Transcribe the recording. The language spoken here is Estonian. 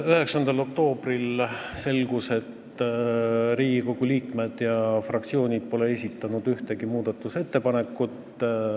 9. oktoobril selgus, et Riigikogu liikmed ja fraktsioonid pole esitanud ühtegi muudatusettepanekut.